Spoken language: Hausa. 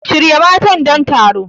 Shirya matan don taron.